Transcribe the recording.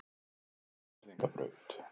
Skagfirðingabraut